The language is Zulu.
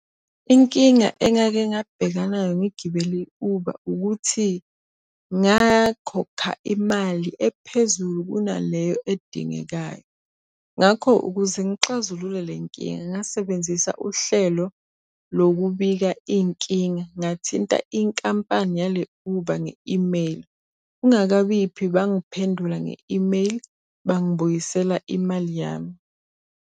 Inkinga engake ngabhekana nayo ngigibele i-Uber ukuthi ngakhokha imali ephezulu kunaleyo edingekayo. Ngakho ukuze ngixazulule le nkinga ngasebenzisa uhlelo lokubika iy'nkinga, ngathinta inkampani yale Uber nge-imeyili. Kungakabiphi bangiphendula nge-imeyili, bangibuyisela imali yami.